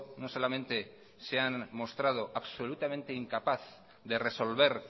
no solamente se han mostrado absolutamente incapaces de resolver